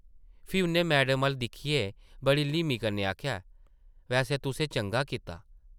फ्ही उʼन्नै मैडम अʼल्ल दिक्खियै बड़ी ल्हीमी कन्नै आखेआ ,‘‘ वैसे तुसें चंगा कीता ।’’